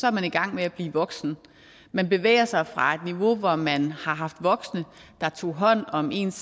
er man i gang med at blive voksen man bevæger sig fra et niveau hvor man har haft voksne der tog hånd om ens